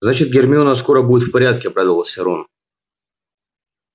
значит гермиона скоро будет в порядке обрадовался рон